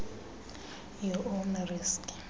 your own risk